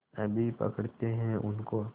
अभी पकड़ते हैं उनको